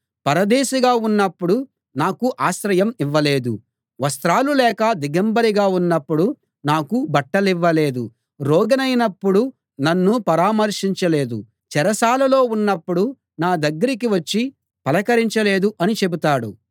పరదేశిగా ఉన్నప్పుడు నాకు ఆశ్రయం ఇవ్వలేదు వస్త్రాలు లేక దిగంబరిగా ఉన్నప్పుడు నాకు బట్టలివ్వలేదు రోగినైనప్పుడు నన్ను పరామర్శించలేదు చెరసాలలో ఉన్నప్పుడు నా దగ్గరికి వచ్చి పలకరించలేదు అని చెబుతాడు